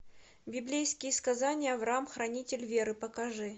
библейские сказания авраам хранитель веры покажи